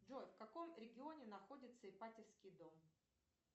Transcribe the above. джой в каком регионе находится ипатьевский дом